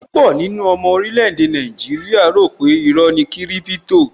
Púpọ̀ nínú àwọn ọmọ orílè-èdè Nigeria rò pe iró ni kiripito